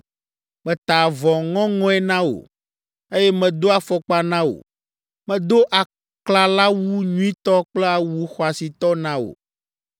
Meta avɔ ŋɔŋɔe na wò, eye medo afɔkpa na wò. Medo aklalawu nyuitɔ kple awu xɔasitɔ na wò.